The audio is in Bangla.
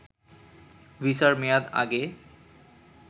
ভিসার মেয়াদ আগে